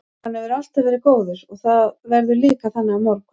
Hann hefur alltaf verið góður og það verður líka þannig á morgun.